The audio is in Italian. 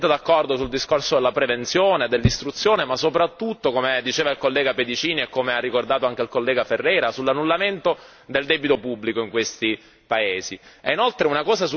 Io sono assolutamente d'accordo sul discorso della prevenzione e dell'istruzione ma, soprattutto, come diceva il collega Pedicini e come ha ricordato anche il collega Ferreira, sull'annullamento del debito pubblico in questi paesi.